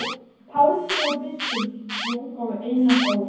Páls sögu biskups í útgáfu Einars Ól.